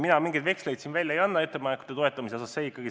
Mina mingeid veksleid ettepanekute toetamise osas välja ei anna.